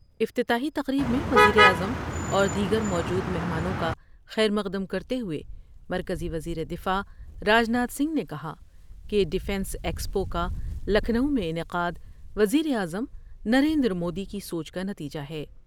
افتتاحی تقریب میں وزیراعظم اور دیگر موجود مہمانوں کا خیر مقدم کرتے ہوۓ مرکزی وزیر دفاع راج ناتھ سنگھ نے کہا کہ ڈفینس ایکسپو کالکھنو میں انعقا دوز یر اعظم نریندرمودی کی سوچ کا نتیجہ ہے ۔